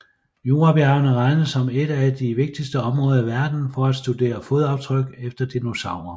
Jurabjergene regnes som et af de vigtigste områder i verden for at studere fodaftryk efter dinosaurer